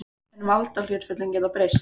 En valdahlutföllin geta breyst.